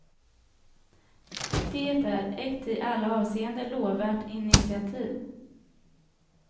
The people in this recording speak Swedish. Det är ett i alla avseenden lovvärt initiativ.